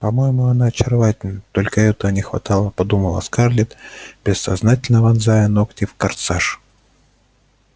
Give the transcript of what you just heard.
по-моему она очаровательна только этого не хватало подумала скарлетт бессознательно вонзая ногти в корсаж